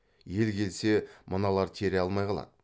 ел келсе мыналар тере алмай қалады